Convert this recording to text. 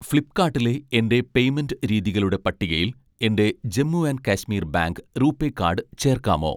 ഫ്ലിപ്പ്കാട്ടിലെ എൻ്റെ പേയ്‌മെൻ്റ് രീതികളുടെ പട്ടികയിൽ എൻ്റെ Jammu and Kashmir bank RuPay card ചേർക്കാമോ